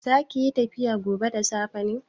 Zakiyi tafiya gobe da safe ne?